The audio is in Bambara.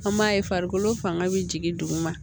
An b'a ye farikolo fanga bɛ jigin duguma